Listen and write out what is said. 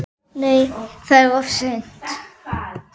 Nei, það er of seint.